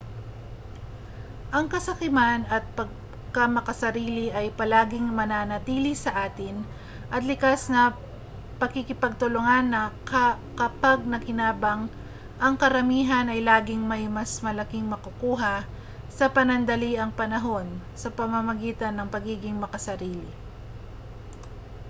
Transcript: ang kasakiman at pagkamakasarili ay palaging mananatili sa atin at likas sa pakikipagtulungan na kapag nakinabang ang karamihan ay laging may mas malaking makukuha sa panandaliang panahon sa pamamagitan ng pagiging makasarili